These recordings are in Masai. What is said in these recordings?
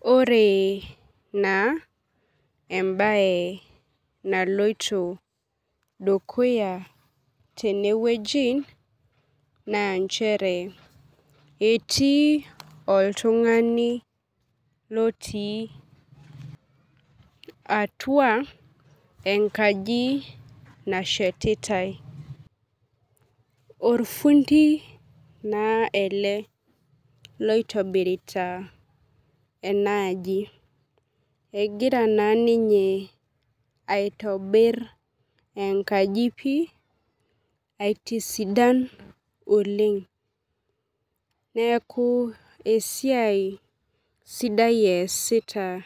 Ore na embae naloito dukuya tenewueji na nchere eti oltungani otii atua enkaji nashetitae orrundi na ele loitibirita enaaji egira na ninye aitobir enkaji pii aitisidan oleng neaku esiaia sidai easita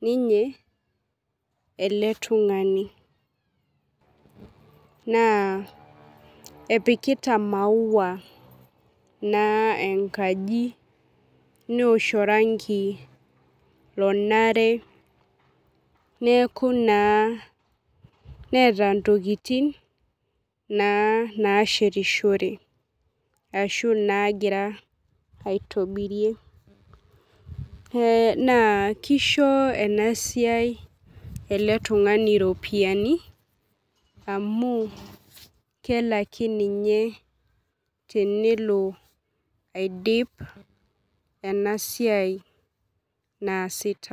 ninye eletungani na epikita maua enkaji neosh orangi onare neaku na neeta ntokitin nashetishore ashu nagira aitobirie na kisho enasia eletungani ropiyani anu kelaki ninye tenelo aidip enasia naasita.